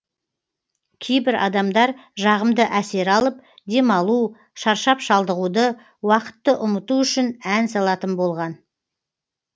кейбір адамдар жағымды әсер алып демалу шаршап шалдығуды уақытты ұмыту үшін ән салатын болған